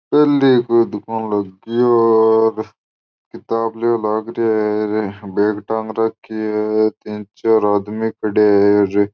देखो तो किताब लेव लागरो है बेग टांग राखी है तीन चार आदमी खड़े है।